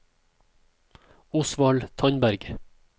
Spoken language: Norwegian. Osvald Tandberg